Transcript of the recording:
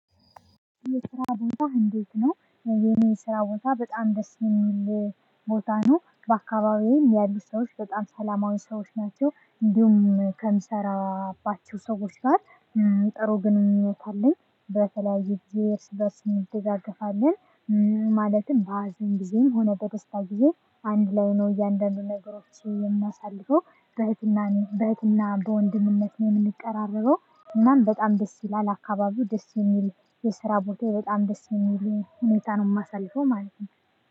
የስራ ቦታህ እንዴት ነው? የኔ ስራ ቦታ በጣም ደስ የሚል ቦታ ነው። በአካባቢየም ያሉ ሰዎች በጣም ሰላማዊ ሰዎች ናቸው እንዲሁም ከምሰራባቸው ሰዎች ጋር። ጥሩ ግንኙነት አለኝ። በተለያየ ጊዜ እርስ በእርስ እንደጋገፋለን። ማለትም በሀዘን ጊዜም ሆነ በደስታ ጊዜ አንድ ላይ ነው እያንዳንዱን ነገሮችንም የምናሳልፈው። በህትና በህትና በወንድምነት ነው የምንቀራረበው። እናም በጣም ደስ ይላል አካባቢው ደስ የሚል። የስራ ቦታየ በጣም ደስ የሚል ሁኔታ ነው የማሳልፈው ማለት ነው።